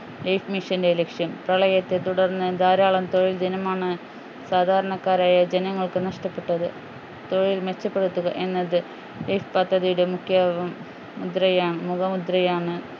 life mission ൻ്റെ ലക്ഷ്യം പ്രളയത്തെ തുടർന്ന് ധാരാളം തൊഴിൽ ദിനമാണ് സാധാരണക്കാരായ ജനങ്ങൾക്ക് നഷ്ടപ്പെട്ടത് തൊഴിൽ മെച്ചപ്പെടുത്തുക എന്നത് ഈ പദ്ധതിയുടെ മുഖ്യ മുദ്രയാ മുഖമുദ്രയാണ്